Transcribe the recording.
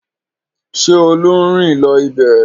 Ṣé Olú ń rìn lọ ibẹ̀?